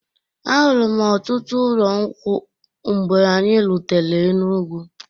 Ahụrụm ọtụtụ ụlọ nkwụ mgbe anyị rutere Enugwu.